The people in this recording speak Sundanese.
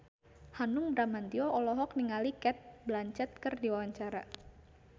Hanung Bramantyo olohok ningali Cate Blanchett keur diwawancara